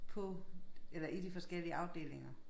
På eller i de forskellige afdelinger